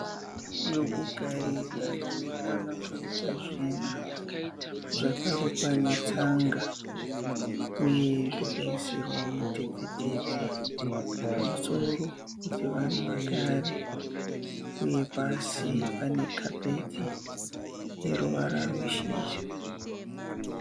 Zvokugarira zvinokwana kuita zvina. Zvakarukwa netsanga uye zvakaisirwa mutepfetepfe pamusoro kuti vanhu vagare. Uye pasi pane kapeti yeruvara rweshizha.